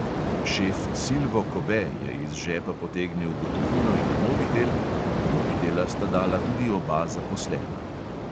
Šef silvo kobe je iz žepa potegnil gotovino in mobitel, mobitela sta dala tudi oba zaposlena.